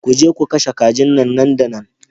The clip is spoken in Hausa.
Ku je ku kashe kajin nan da nan